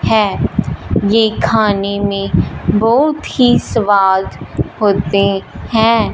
है ये खाने में बहुत ही स्वाद होते हैं।